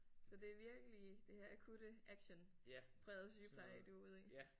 Så det er virkelig det her akutte actionprægede sygepleje du er ude i